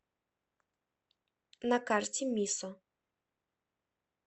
на карте мисо